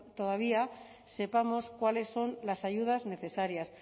todavía sepamos cuáles son las ayudas necesarias